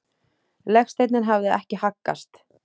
Legsteinninn hafði ekki haggast.